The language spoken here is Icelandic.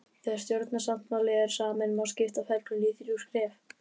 Þegar stjórnarsáttmáli er saminn má skipta ferlinu í þrjú skref